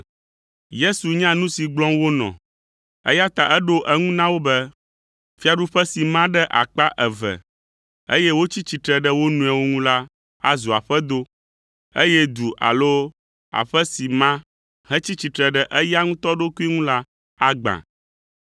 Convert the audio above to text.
Yesu nya nu si gblɔm wonɔ, eya ta eɖo eŋu na wo be, “Fiaɖuƒe si ma ɖe akpa eve, eye wotsi tsitre ɖe wo nɔewo ŋu la azu aƒedo, eye du alo aƒe si ma hetsi tsitre ɖe eya ŋutɔ ɖokui ŋu la agbã.